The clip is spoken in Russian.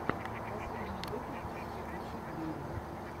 последний выпуск скрипучей двери